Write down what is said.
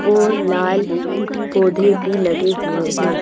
और लाल पौधे भी लगे हुए --